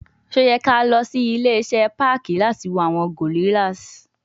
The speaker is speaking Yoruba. Ṣe o yẹ ki a lọ si ile-iṣẹ parki lati wo awọn gorrillas